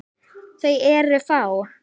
Þau eru fá.